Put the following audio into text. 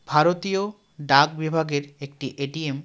ভারতীয় ডাক বিভাগের একটি এ_টি_এম .